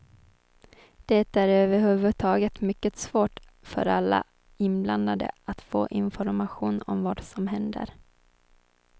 Det är överhuvudtaget mycket svårt för alla inblandade att få information om vad som händer.